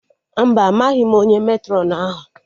Mba, amaghị m onye Matrọn ahụ